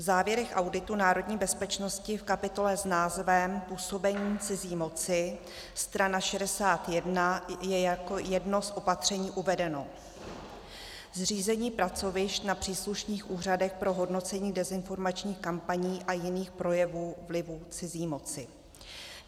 V závěrech auditu národní bezpečnosti v kapitole s názvem Působení cizí moci, strana 61, je jako jedno z opatření uvedeno: zřízení pracovišť na příslušných úřadech pro hodnocení dezinformačních kampaní a jiných projevů vlivů cizí moci.